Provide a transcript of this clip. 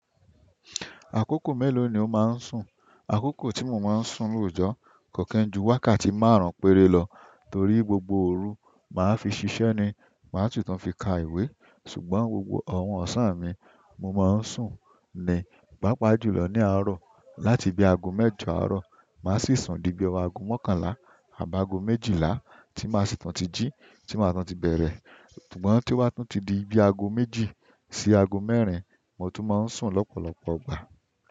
Àkókò mélòó ni o máa ń sùn? Àkókò tí mo máa ń sùn lóojọ́ kò ki n ju wákàtí márùn-ún péré lọ torí gbogbo òru máa fi ṣiṣẹ́ ni màá tún tàn fi ka ìwé. Ṣùgbọ́n gbogbo àwọn ọ̀sán mi mo máa ń sùn ni, pàápàá jùlọ ní àárọ̀. Láti bí aago mẹ́jọ àárọ̀ maa sì sùn di bí i ọwọ́ aago mọ́kànlá àbáago méjìlá tí màá sì tun tí jí tí màá tun tí bẹ̀rẹ̀. Ṣùgbọ́n tí i ba tún ti di bí i aago méjì sí aago mẹ́rin mo tún máa ń sùn lọ́pọ̀lọpọ̀ jgbà.